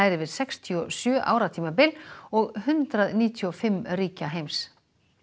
yfir sextíu og sjö ára tímabil og hundrað níutíu og fimm ríki heims